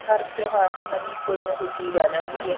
ਹਰ ਤਿਉਹਾਰ ਤੇ ਨਵੀਂ ਕੋਈ ਨਾ ਕੋਈ ਚੀਜ਼ ਆ ਜਾਂਦੀ ਏ